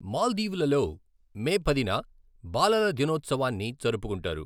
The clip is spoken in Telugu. మాల్దీవులలో మే పదిన బాలల దినోత్సవాన్ని జరుపుకుంటారు.